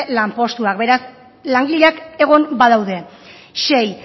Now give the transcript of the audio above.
lanpostuak beraz langileak egon badaude sei